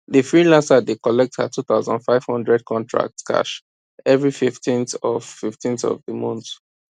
the freelancer dey collect her two thousand five hundred contract cash every fifteenth of fifteenth of the month